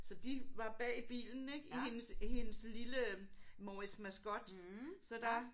Så de var bag i bilen ik i hendes i hendes lille Morris Mascot. Så der